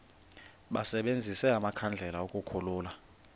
basebenzise amakhandlela ukukhulula